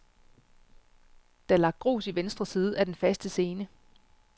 Der er lagt grus i venstre side af den faste scene.